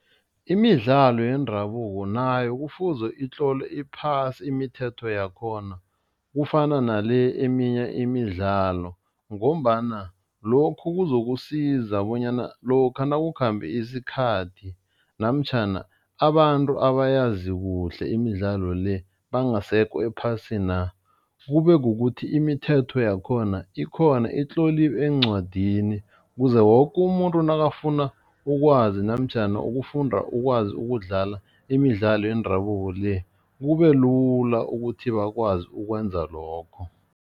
Imidlalo yendabuko nayo kufuze itlolwe iphasi imithetho yakhona kufana nale eminye imidlalo ngombana lokhu kuzokusiza bonyana lokha nakukhambe isikhathi namtjhana abantu abayazi kuhle imidlalo le bangasekho ephasina, kube kukuthi imithetho yakhona ikhona itloliwe eencwadini, kuze woke umuntu nakafuna ukwazi namtjhana ukufunda ukwazi ukudlala imidlalo yendabuko le, kube lula ukuthi bakwazi ukwenza lokho.